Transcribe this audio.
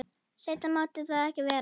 Seinna mátti það ekki vera.